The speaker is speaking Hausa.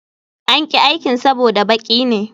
An ƙi aikin saboda baki ne